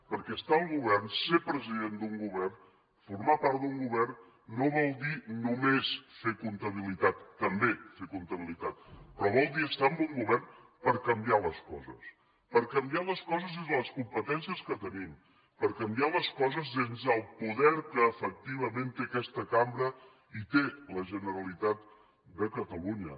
perquè estar al govern ser president d’un govern formar part d’un govern no vol dir només fer comptabilitat també fer comptabilitat però vol dir estar en un govern per canviar les coses per canviar les coses des de les competències que tenim per canviar les coses des del poder que efectivament té aquesta cambra i té la generalitat de catalunya